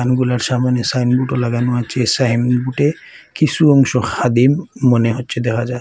ওইগুলার সামোনে সাইনবোর্ডও লাগানো আসে সাইনবোর্ডে কিসু অংশ খাদিম মনে হচ্ছে দেখা যায়।